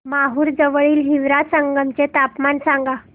माहूर जवळील हिवरा संगम चे तापमान सांगा